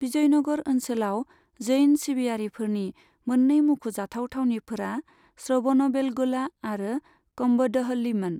बिजयनगर ओनसोलाव जैन सिबियाफोरनि मोन्नै मुंख'जाथाव थावनिफोरा श्रबणबेलगोला आरो कम्बदहल्लीमोन।